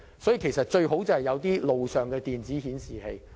所以，政府最好在路上增設電子顯示器。